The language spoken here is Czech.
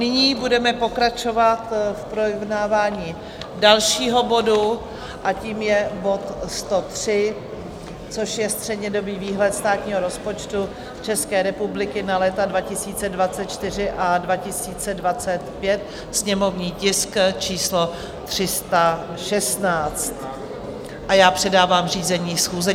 Nyní budeme pokračovat v projednávání dalšího bodu, a tím je bod 103, což je střednědobý výhled státního rozpočtu České republiky na léta 2024 a 2025, sněmovní tisk číslo 316, a já předávám řízení schůze.